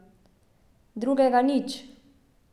Drugega nič.